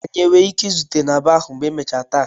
Anyị nwere ike izute na baa ahụ ma emechaa taa?